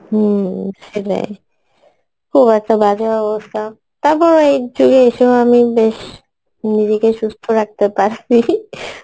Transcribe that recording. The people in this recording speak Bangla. হম সেটাই খুব একটা বাজে অবস্থা তারপরে এইযুগে এইসব আমি বেশ নিজেকে সুস্থ রাখতে পারসি